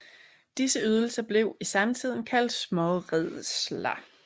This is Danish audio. Disse ydelser blev i samtiden kaldt småredsler